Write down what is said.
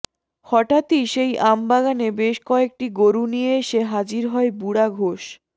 হঠাৎই সেই আম বাগানে বেশ কয়েকটি গরু নিয়ে এসে হাজির হয় বুড়া ঘোষ